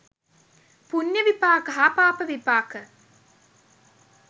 පුණ්‍ය විපාක හා පාප විපාක